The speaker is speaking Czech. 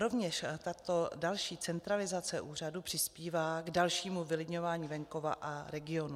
Rovněž tato další centralizace úřadu přispívá k dalšímu vylidňování venkova a regionů.